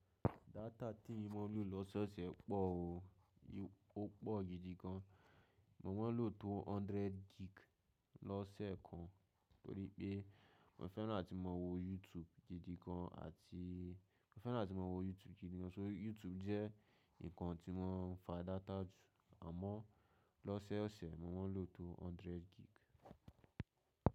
Data tí mo ń lò lọ́sẹ́ ọ̀sẹ̀ pọ̀ o. Ó pọ̀ gidi gan. Mo máa ń lò tó 100 gig lọ́sẹ̀ kan torí pé mò fẹ́ràn láti máa wo YouTube gidi gan àti mó fẹ́ràn láti máa wo YouTube gidi gan. So YouTube jẹ́ nǹkan tí mo ń fa data jù, àmọ́ lọ́sẹ́ ọ̀sẹ̀ mo máa ń lò tó 100 gig.